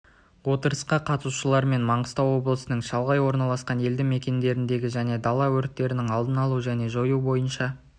отырысқа қатысушылармен маңғыстау облысының шалғай орналасқан елді мекендердегі және дала өрттерінің алдын алу және жою бойынша